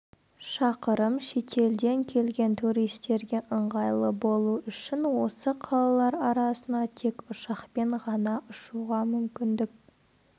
шақырым шетелден келген туристерге ыңғайлы болу үшін осы қалалар арасына тек ұшақпен ғана ұшуға мүмкіндік